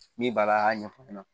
Min b'a la a y'a ɲɛfɔ ɲɛna